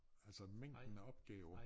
Altså mængden af opgaver